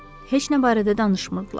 Heç nə barədə danışmırdılar.